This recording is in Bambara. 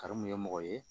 Karimu ye mɔgɔ ye